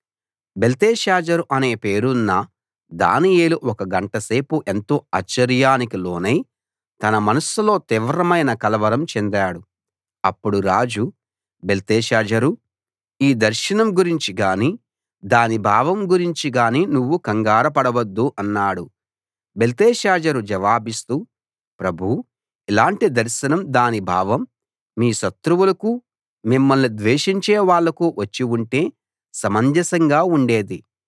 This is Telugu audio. బెల్తెషాజరు అనే పేరున్న దానియేలు ఒక గంట సేపు ఎంతో ఆశ్చర్యానికి లోనై తన మనస్సులో తీవ్రమైన కలవరం చెందాడు అప్పుడు రాజు బెల్తెషాజర్ ఈ దర్శనం గురించి గానీ దాని భావం గురించి గానీ నువ్వు కంగారు పడవద్దు అన్నాడు బెల్తెషాజర్ జవాబిస్తూ ప్రభూ ఇలాంటి దర్శనం దాని భావం మీ శత్రువులకు మిమ్మల్ని ద్వేషించే వాళ్లకు వచ్చి ఉంటే సమంజసంగా ఉండేది